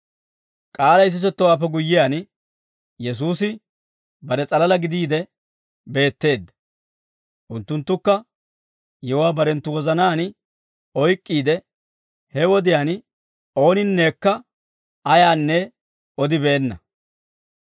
K'aalay sisettowaappe guyyiyaan, Yesuusi bare s'alalaa gidiide beetteedda; unttunttukka yewuwaa barenttu wozanaan oyk'k'iide he wodiyaan ooninnekka ayaanne odibeenna.